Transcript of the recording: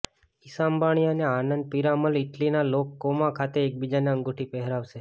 ઈશા અંબાણી અને આનંદ પીરામલ ઈટલીના Lake Como ખાતે એકબીજને અંગૂઠી પહેરાવશે